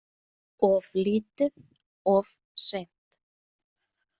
Of lítið, of seint.